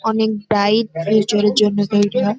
অনেক bright future -এর জন্য তৈরি হয় ।